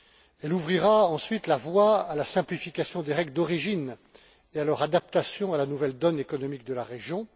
Elle ouvrira ensuite la voie à la simplification des règles d'origine et à leur adaptation à la nouvelle donne économique de la région.